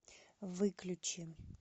выключи